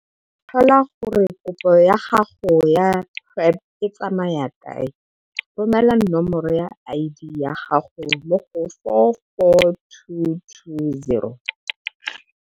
Go tlhola gore kopo ya gago ya PrPD e tsamaya kae, romela nomoro ya ID ya gago mo go 44220.